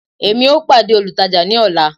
emi o pade olùtajà ni ọla